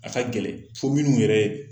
A ka gɛlɛn fo minnu yɛrɛ